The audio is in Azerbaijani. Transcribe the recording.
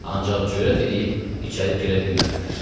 Ancaq cürət eləyib içəri girə bilmədilər.